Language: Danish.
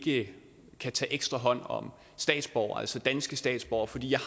ikke kan tage ekstra hånd om statsborgere altså danske statsborgere fordi jeg